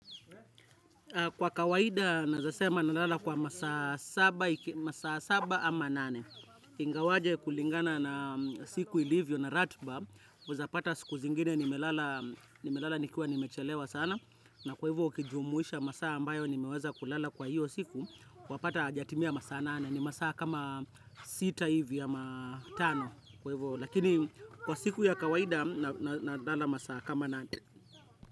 Kwa kawaida, naeza sema nalala kwa masaa saba ama nane. Ingawaje kulingana na siku ilivyo na ratiba. Unaeza pata siku zingine, nimelala nikiwa nimechelewa sana. Na kwa hivyo, ukijumuisha masaa ambayo, nimeweza kulala kwa hiyo siku. Kuwapata hajatimia masaa nane. Ni masaa kama sita hivi ama tano. Kwa hivyo, lakini kwa siku ya kawaida, nalala masaa kama nane.